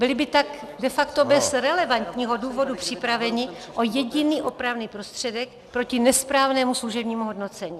Byli by tak de facto bez relevantního důvodu připraveni o jediný opravný prostředek proti nesprávnému služebnímu hodnocení.